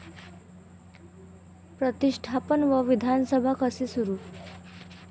प्रतिष्ठापन व विधानसभा कसे सुरू